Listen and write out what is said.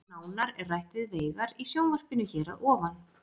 Nánar er rætt við Veigar í sjónvarpinu hér að ofan.